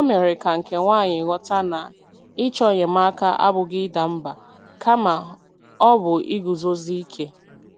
O mere ka nke nwaanyị ghọta na ịchọ enyemaka abụghị ịda mba, kama ọ bụ iguzosi ike.